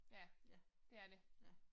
Ja. Det er det